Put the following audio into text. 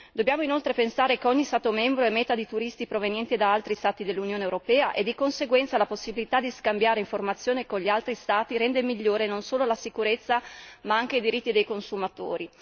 Dobbiamo inoltre pensare che ogni Stato membro è meta di turisti provenienti da altri Stati dell'Unione europea e, di conseguenza, la possibilità di scambiare informazioni con gli altri Stati rende migliore non solo la sicurezza ma anche i diritti dei consumatori.